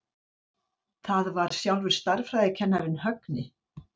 Það var sjálfur stærðfræðikennarinn, Högni.